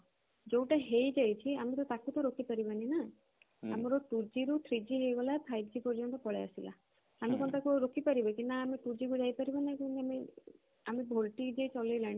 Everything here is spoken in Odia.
ଯୋଉଟା ହେଇ ଯାଇଛି ତାକୁ ତ ଆମେ ରୋକି ପାରିବନି ନା ଆମର two G ରୁ three G ହେଇଗଲା five G ପର୍ଯ୍ୟନ୍ତ ପଳେଇ ଆସିଲା ଆମେ କଣ ତାକୁ ରୋକି ପାରିଲେ କି ନା ଆମେ two G କୁ ଯାଇ ପାରିବା ନା ଆମେ volte ଚଲେଇଲାଣି